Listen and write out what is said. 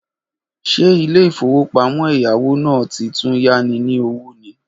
Ṣe ilé ìfowópamọ́ ẹ̀yáwó náà ti tún yá ni ní owó ni?